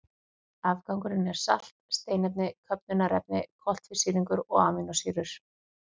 Afgangurinn er salt, steinefni, köfnunarefni, koltvísýringur og amínósýrur.